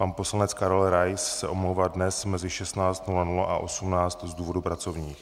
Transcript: Pan poslanec Karel Rais se omlouvá dnes mezi 16.00 a 18.00 z důvodů pracovních.